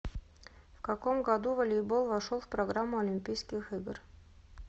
в каком году волейбол вошел в программу олимпийских игр